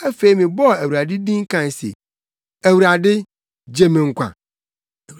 Afei mebɔɔ Awurade din kae se, “ Awurade, gye me nkwa!”